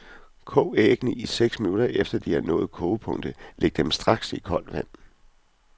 Kog æggene i seks minutter efter de har nået kogepunkt, og læg dem straks i koldt vand.